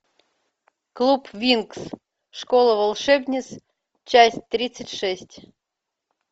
клуб винкс школа волшебниц часть тридцать шесть